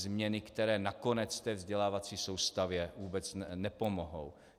Změny, které nakonec té vzdělávací soustavě vůbec nepomohou.